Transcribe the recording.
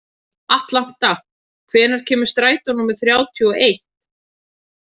Atlanta, hvenær kemur strætó númer þrjátíu og eitt?